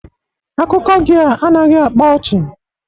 Akụkọ gị a anaghị akpa ọchị